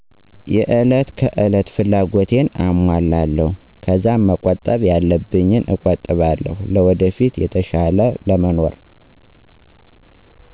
የእለት ከእለት ፍላጎቴን አሞላለው ከዛ መቆጣብ ያለብኝን እቆጥባለው ለወደፊት የተሻለ ለመኖር።